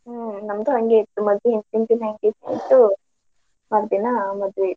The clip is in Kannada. ಹ್ಮ್ ನಮ್ದು ಹಂಗೆ ಇತ್ತು ಮದ್ವಿ ಹಿಂದಿನ ದಿನ engagement ಮರ್ದಿನಾ ಮದ್ವಿ ಇತ್ತು.